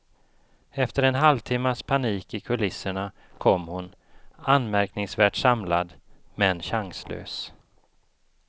Efter en halvtimmas panik i kulisserna kom hon, anmärkningsvärt samlad, men chanslös.